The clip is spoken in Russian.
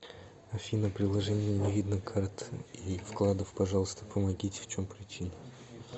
афина приложение не видно карт и вкладов пожалуйста помогите в чем причина